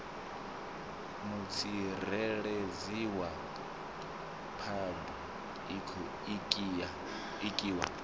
mutsireledzi wa phabu iki wa